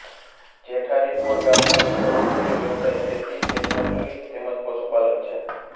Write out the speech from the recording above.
જેઠારીબોર ગામના લોકોનો મુખ્ય વ્યવસાય ખેતી ખેતમજૂરી તેમ જ પશુપાલન છે